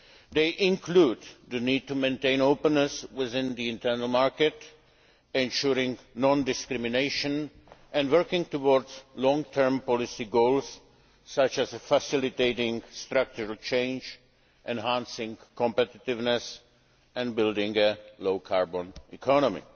They include the need to maintain openness within the internal market, ensuring non discrimination and working towards long term policy goals, such as facilitating structural change, enhancing competitiveness and building a low carbon economy.